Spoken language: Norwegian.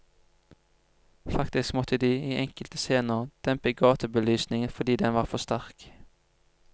Faktisk måtte de, i enkelte scener, dempe gatebelysningen fordi den var for sterk.